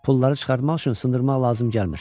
Pulları çıxartmaq üçün sındırmaq lazım gəlmir.